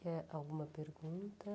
Quer alguma pergunta?